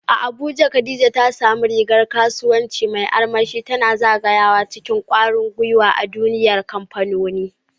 A Abuja, Khadija ta sa rigar kasuwanci mai armashi, tana zagayawa cikin kwarin gwiwa a duniyar kamfanoni.